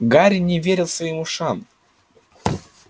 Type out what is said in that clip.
гарри не верил своим ушам